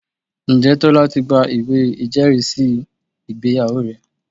Ǹjẹ́ Tọ́lá ti gba ìwé ìjẹ́rìísí ìgbéyàwó rẹ̀?